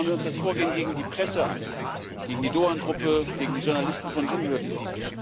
Schauen wir uns das Vorgehen gegen die Presse an gegen die Doğan Gruppe, gegen die Journalisten von Cumhuriyet.